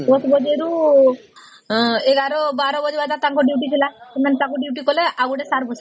୧ ବାଜେ ରୁ ୧୧୧୨ ବାଜେ ତାଙ୍କ duty ଥିଲା ସେମାନେ ତାଙ୍କ duty କଲେ ଆଉ ଜଣେ sir ବସିଲେ